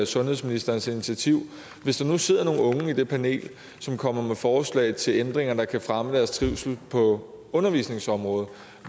sundhedsministerens initiativ hvis der nu sidder nogle unge i det panel som kommer med forslag til ændringer der kan fremme deres trivsel på undervisningsområdet